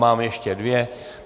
Máme ještě dvě.